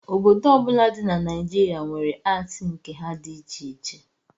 Obodo ọbụla dị na Naijirịa were atii nke ha dị iche iche